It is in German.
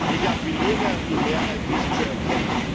Ich appelliere an die Mehrheit, dies zu erkennen.